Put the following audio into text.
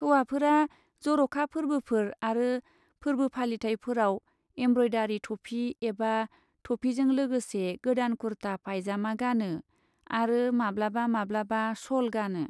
हौवाफोरा जर'खा फोर्बोफोर आरो फोर्बो फालिथायफोराव एमब्रयदारि थफि एबा थफिजों लोगोसे गोदान कुर्ता पायजामा गानो, आरो माब्लाबा माब्लाबा श'ल गानो।